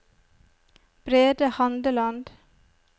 Brede Handeland